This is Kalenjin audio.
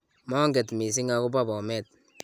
monget mising' akobo Bomet